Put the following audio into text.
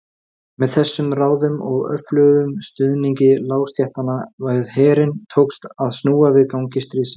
Ef hann væri svona yndislegur alla daga þyrfti hún ekki að kvíða framtíð þeirra.